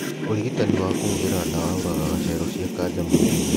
Ũrigitanĩ wa kũhũthĩra ndawa ũragaga cero cia kanja mwĩrĩ-inĩ